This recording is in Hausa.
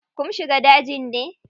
Kum shiga daji ne?